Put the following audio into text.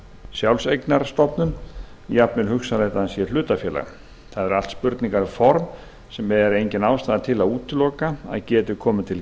sjálfseignarstofnun eða hugsanlega hlutafélag það eru allt spurningar um form sem engin ástæða er til að útiloka að geti komið til